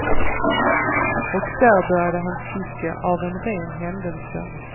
Och där började han sticka av en ren händelse.